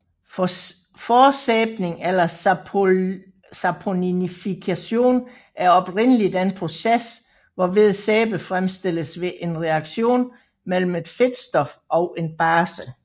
Forsæbning eller saponifikation er oprindelig den proces hvorved sæbe fremstilles ved en reaktion mellem et fedtstof og en base